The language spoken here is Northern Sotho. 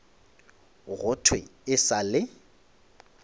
go thwe e sa le